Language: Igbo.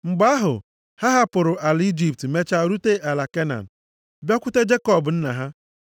Mgbe ahụ, ha hapụrụ ala Ijipt mechaa rute ala Kenan, bịakwute Jekọb nna ha.